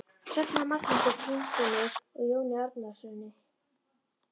Söfnuð af Magnúsi Grímssyni og Jóni Árnasyni.